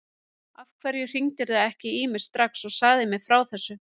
Af hverju hringdirðu ekki í mig strax og sagðir mér frá þessu?